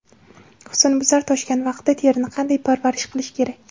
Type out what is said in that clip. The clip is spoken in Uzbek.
Husnbuzar toshgan vaqtda terini qanday parvarish qilish kerak?